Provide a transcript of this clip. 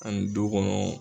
Ani dukɔnɔ